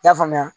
I y'a faamuya